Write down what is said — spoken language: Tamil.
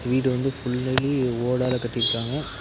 வீடு வந்து ஃபுல்லலி ஓடால கட்டியிருக்காங்க.